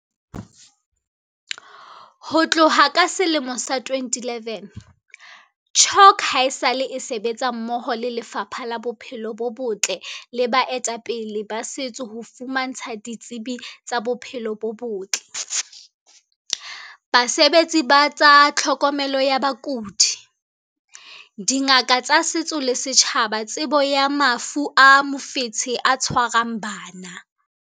Ho tloha ka selemo sa 2011, CHOC haesale e sebetsa mmoho le Lefapha la Bophelo bo Botle le baetapele ba setso ho fumantsha ditsebi tsa bophelo bo botle, basebetsi ba tsa tlhokomelo ya bakudi, dingaka tsa setso le setjhaba tsebo ya mafu a mofetshe o tshwarang bana.